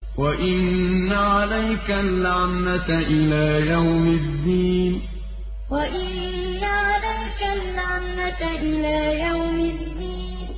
وَإِنَّ عَلَيْكَ اللَّعْنَةَ إِلَىٰ يَوْمِ الدِّينِ وَإِنَّ عَلَيْكَ اللَّعْنَةَ إِلَىٰ يَوْمِ الدِّينِ